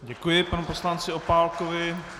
Děkuji panu poslanci Opálkovi.